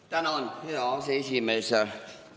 Tänan, hea aseesimees!